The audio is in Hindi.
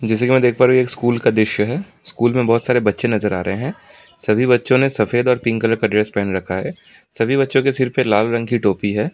जैसा कि मैं देख पा रहा हूँ ये एक स्कूल का दृश्य है स्कूल में बहोत सारे बच्चे नजर आ रहे हैं सभी बच्चों ने सफेद और पिंक कलर का ड्रेस पहन रखा है सभी बच्चों के सिर पे लाल रंग की टोपी है।